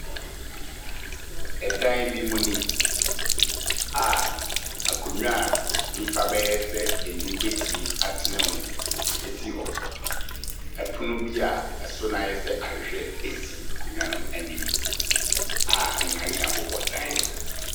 Ɛdan bi mu ni a akonwa a nipa bɛyɛ sɛ nnum betumi atena mu esi hɔ. Ɔpono bi a ɛso no ayɛ sɛ ahwɛhwɛ esi akonwa no ɛnim a nkanea ɛbobɔ dan ne ho.